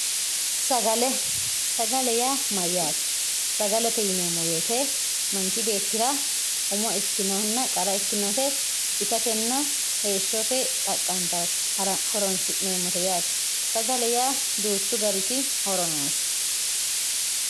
sagale sagale yaa mayyaate sagalete yineemmo woyte manchi beettira umo ikkinohunitenna qara ikkinote itatenna heeshshote xaqqantawote horoonsi'neemmote yaate sagale yaa duuchu gariti horo noose